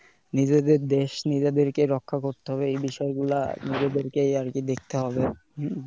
নিজেদের দেশ নিজেদেরকে রক্ষা করতে হবে ।এই বিষয়গুলো নিজেদেরকে আর কি দেখতে হবে।